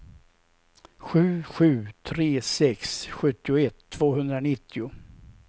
sju sju tre sex sjuttioett tvåhundranittio